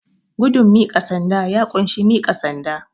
Gudun miƙa sanda, ya ƙunshi miƙa sanda.